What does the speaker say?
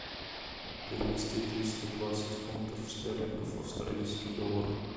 перевести триста двадцать фунтов стерлингов в австралийский доллар